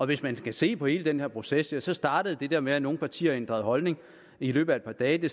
hvis man skal se på hele den her proces så startede det der med at nogle partier ændrede holdning i løbet af et par dage